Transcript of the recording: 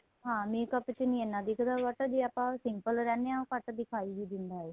ਹਾਂ makeup ਚ ਇਹਨਾ ਦਿਖਦਾ but ਜ਼ੇ ਆਪਾਂ simple ਰਹਿੰਨੇ ਹਾਂ ਘੱਟ ਦਿਖਾਈ ਵੀ ਦਿੰਦਾ ਏ